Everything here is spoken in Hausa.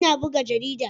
Ina buga jarida.